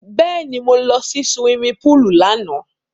Bẹ́ẹ̀ni, mo lọ sí suwimi púùlù lánàá.